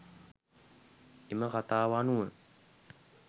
එම කථාව අනුව